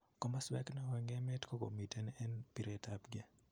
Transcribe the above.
Komoswek neo en emet kokomiten en piretapnge